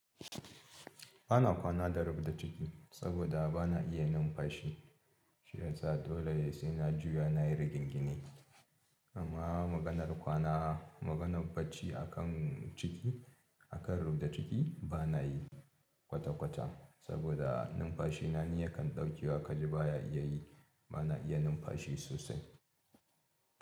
Ba na kwana da rubda ciki saboda ba na iya numfashi shiyasa dole sai na juya nayi rigingini amma maganar kwana maganar barci akan ciki akan rubda ciki, ba na yi kwata kwata saboda numfashi na ni ya kan ɗaukewa kaji baya iya yi ba na iya numfashi sosai.